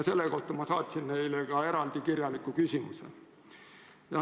Selle kohta ma saatsin neile ka eraldi kirjaliku küsimuse.